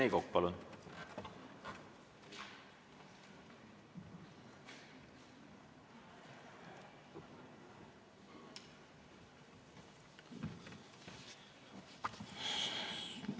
Rene Kokk, palun!